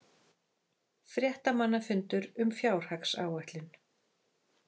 Fréttamannafundur um fjárhagsáætlun